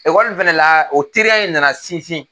Ekɔli fana la o teriya in nana sinsin